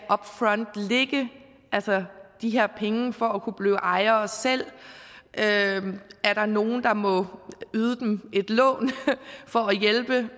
lægge de her penge for at kunne blive ejere selv er der nogle der må yde dem et lån for at hjælpe